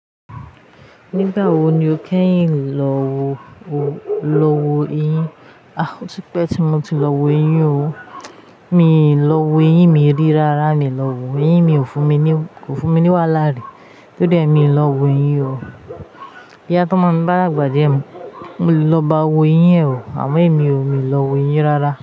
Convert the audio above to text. Nígbà wo ni o kẹ́yìn lọ wọ eyín? A! Ó ti pẹ́ tí mo ti lọ wo eyín o. Mi ò lọ wo eyín, mi rí rárá mi lọ wo. Eyín mi ò fún mi ní wàhálà rí. To dé mi lọ wo eyín o. Boya tómo mi bá dàgbà díẹ̀, mo le lọ báa wo eyín o, àmọ́ èmi ò lọ wo eyín rárá.